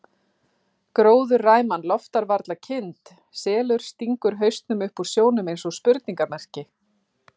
Gróðurræman loftar varla kind, selur stingur hausnum upp úr sjónum eins og spurningarmerki.